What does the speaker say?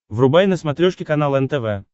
врубай на смотрешке канал нтв